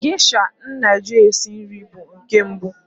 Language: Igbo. Gesha m na-eji esi nri bụ nke mbụ.